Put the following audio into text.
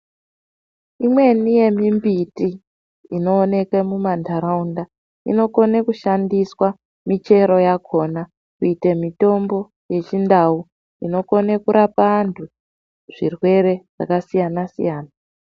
Imweni yemimbiti inoonekwe mumantaraunda inokone kushandiswa michero yakhona kuite mitombo yechindau inokone kurapa antu zvirwere zvakasiyana -siyana.